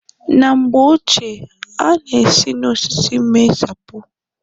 Na mgbe ochie a na-esi n'osisi mee sapo.